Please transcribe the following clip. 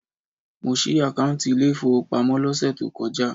Mo ṣí àkáùntì ilé ìfowópamọ́ lọ́sẹ̀ tó kọjá.